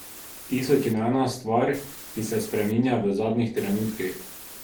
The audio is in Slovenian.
Tisoč in ena stvar, ki se spreminja v zadnjih trenutkih ...